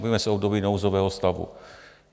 Bavíme se o období nouzového stavu.